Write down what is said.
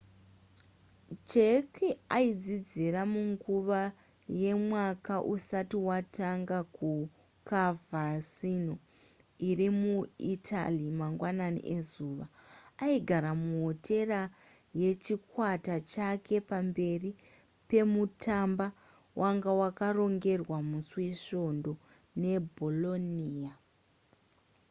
jarque aidzidzira munguva yemwaka usati watanga kucoverciano irimuitaly mangwanani ezuva aigara muhotera yechikwata chake pamberi pemutamba wanga wakarongerwa musi wesvongo ne bolonia